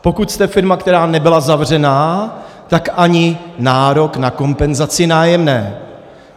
Pokud jste firma, která nebyla zavřená, tak ani nárok na kompenzaci nájemného.